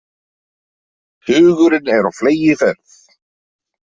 Hugurinn er á fleygiferð.